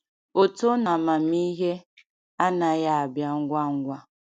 Oto n’amamihe anaghị abịa ngwa ngwa.